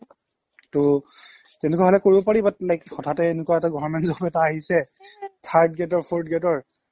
টৌ তেনেকুৱা হ'লে কৰিব পাৰি but like হঠাতে এনেকুৱা এটা government job এটা আহিছে এই third grade ৰ fourth grade ৰ